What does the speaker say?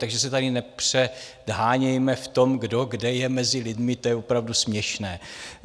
Takže se tady nepředhánějme v tom, kdo, kde je mezi lidmi, to je opravdu směšné.